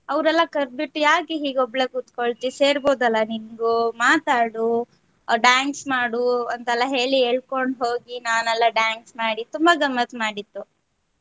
ಅವರೆಲ್ಲ ಕರದ್ ಬಿಟ್ಟು ಯಾಕ್ ಹೀಗೆ ಒಬ್ಳೆ ಕೂತ್ಕೊಳ್ತಿ ಸೇರ್ಬೋದಲ್ಲ ನಿಂಗು ಮಾತಾಡು dance ಮಾಡು ಅಂತ ಎಲ್ಲಾ ಹೇಳಿ ಎಳಕೊಂಡ್ ಹೋಗಿ ನಾನೆಲ್ಲೆ dance ಮಾಡಿ ತುಂಬಾ ಗಮ್ಮತ್ ಮಾಡಿತ್ತು.